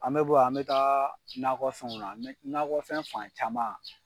An bɛ bɔ yan an bɛ taa nakɔfɛnw nakɔfɛn fan caman.